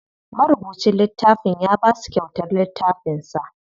Marubucin littafin ya basu kyautar littafin sa.